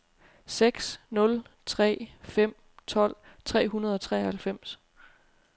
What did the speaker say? seks nul tre fem tolv tre hundrede og treoghalvfems